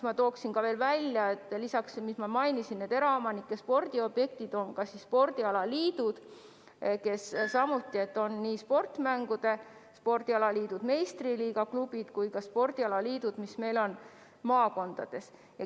Ma tooksin välja veel selle, et peale ennist mainitud eraomanike spordiobjektide toetatakse ka spordialaliitusid, nii sportmängude spordialaliitusid, meistriliiga klubisid kui ka maakondade spordialaliitusid.